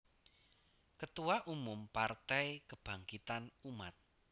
Ketua Umum Partai Kebangkitan Umat